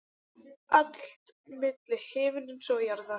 Allt milli himins og jarðar.